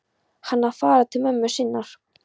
Hann á að fara til mömmu sinnar.